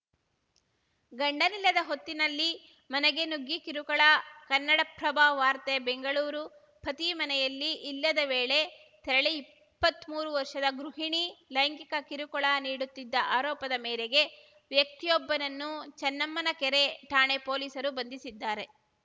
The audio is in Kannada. ಗಂಡನಿಲ್ಲದ ಹೊತ್ತಿನಲ್ಲಿ ಮನೆಗೆ ನುಗ್ಗಿ ಕಿರುಕುಳ ಕನ್ನಡಪ್ರಭ ವಾರ್ತೆ ಬೆಂಗಳೂರು ಪತಿ ಮನೆಯಲ್ಲಿ ಇಲ್ಲದ ವೇಳೆ ತೆರಳಿ ಇಪ್ಪತ್ಮೂರು ವರ್ಷದ ಗೃಹಿಣಿ ಲೈಂಗಿಕ ಕಿರುಕುಳ ನೀಡುತ್ತಿದ್ದ ಆರೋಪದ ಮೇರೆಗೆ ವ್ಯಕ್ತಿಯೊಬ್ಬನನ್ನು ಚನ್ನಮ್ಮನಕೆರೆ ಠಾಣೆ ಪೊಲೀಸರು ಬಂಧಿಸಿದ್ದಾರೆ